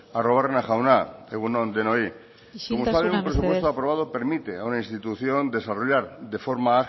arruabarrena jauna egun on denoi isiltasuna mesedez como saben un presupuesto aprobado permite a una institución desarrollar de forma